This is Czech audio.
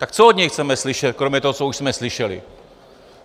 Tak co od něj chceme slyšet kromě toho, co už jsme slyšeli.